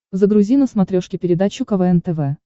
загрузи на смотрешке передачу квн тв